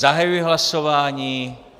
Zahajuji hlasování.